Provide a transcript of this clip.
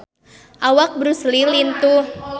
Awak Bruce Lee lintuh